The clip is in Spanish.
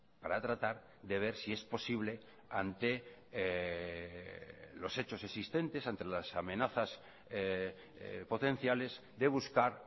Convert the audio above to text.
para tratar de ver si es posible ante los hechos existentes ante las amenazas potenciales de buscar